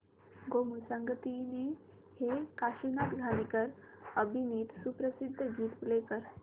गोमू संगतीने हे काशीनाथ घाणेकर अभिनीत सुप्रसिद्ध गीत प्ले कर